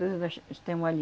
Tudo nós, nós temos ali.